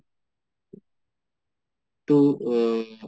তো আ